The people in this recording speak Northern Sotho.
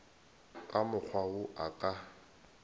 ka mokgwa wo a ka